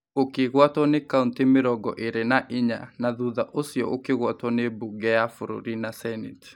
ũkĩgwatwo nĩ kauntĩ mĩrongo ĩrĩ na inya na thutha ũcio ũkĩgwatwo nĩ mbunge ya bũrũri na seneti.